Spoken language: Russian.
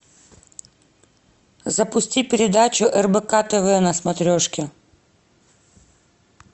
запусти передачу рбк тв на смотрешке